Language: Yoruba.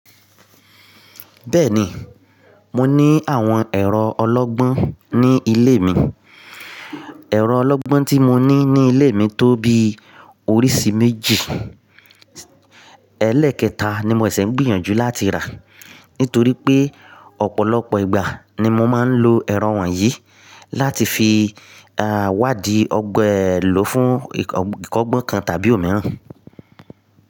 Bẹ́ẹ̀ni, mo ní àwọn ẹ̀rọ ọlọ́gbọ́n ní ilé mi. Ẹ̀rọ ọlọ́gbọ́n tí mo ní ní ilé mi tó bí oríṣi méjì. Ẹlẹ́ẹ̀kẹta ni mo ṣẹ̀ ṣẹ̀ n gbìyànjú láti rà. Nítorí pé ọ̀pọ̀lọpọ̀ ìgbà ni mo máa ń lo ẹ̀rọ wọ̀nyí láti fi, wádìí ọgbẹ́ èlò fún ìkọ́gbọ́n kan tàbí òmíràn.